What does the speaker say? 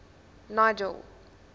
nigel